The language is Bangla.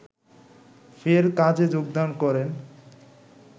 ফের কাজে যোগদান করেন